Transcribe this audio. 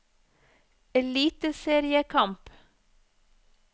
eliteseriekamp